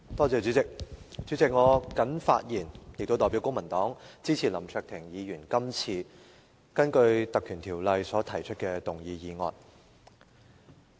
主席，我謹發言代表公民黨支持林卓廷議員根據《立法會條例》所提出的議案。